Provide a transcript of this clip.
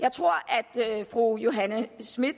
jeg tror at fru johanne schmidt